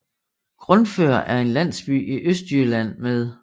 Grundfør er en landsby i Østjylland med